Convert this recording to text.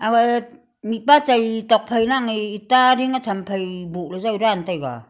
aga e mihpa chai tokphai lang e eta ding e tham phai boh le jao dan taiga.